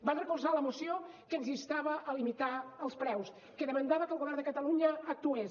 van recolzar la moció que ens instava a limitar els preus que demanava que el govern de catalunya actués